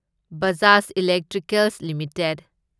Bajaj electricals limited